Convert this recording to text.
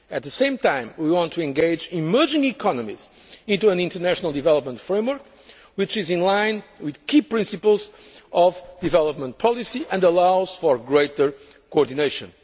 At the same time, we want to engage emerging economies in an international development framework which is in line with key principles of development policy and allows for greater coordination.